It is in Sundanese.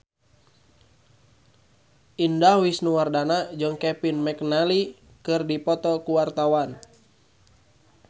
Indah Wisnuwardana jeung Kevin McNally keur dipoto ku wartawan